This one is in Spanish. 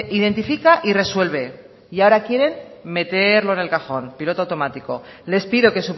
identifica y resuelve y ahora quieren meterlo en el cajón piloto automático les pido que